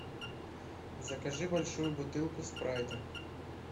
закажи большую бутылку спрайта